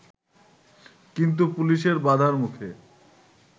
কিন্তু পুলিশের বাধার মুখে